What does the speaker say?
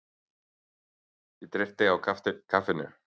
Ég dreypti á kaffinu.